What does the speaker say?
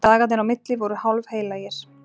Dagarnir á milli voru hálfheilagir.